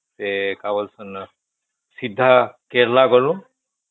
ସେ କା ବୋଲେ ସିନା ସିଧା କେରଳା ଗଲୁ